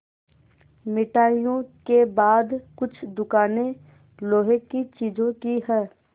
मिठाइयों के बाद कुछ दुकानें लोहे की चीज़ों की हैं